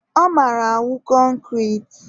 ọ mara awụ concrete.